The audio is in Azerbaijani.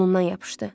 Qolundan yapışdı.